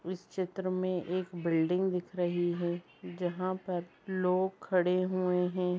उस चित्र में एक बिल्डिंग दिख रही है जहां पर लोग खड़े हुए हैं।